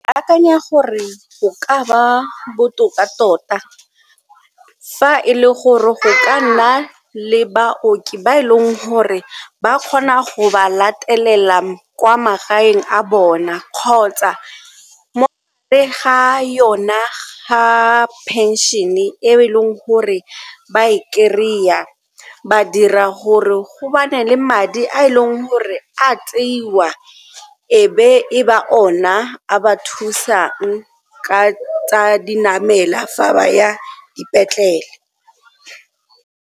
Ke akanya gore go ka ba botoka tota fa e le gore go ka nna le baoki ba e leng gore ba kgona go ba latelela kwa magaeng a bona kgotsa ga yona ga pension-e e e leng gore ba e kry-a ba dira gore go bane le madi a e leng gore a tseiwa e be e ba ona a ba thusang ka tsa di namela fa ba ya dipetlele.